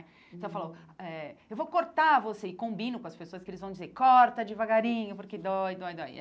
Então, eu falo, eh eu vou cortar você e combino com as pessoas, que eles vão dizer, corta devagarinho, porque dói, dói, dói.